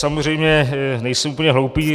Samozřejmě nejsem úplně hloupý.